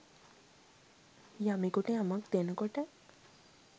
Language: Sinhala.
යමෙකුට යමක් දෙනකොට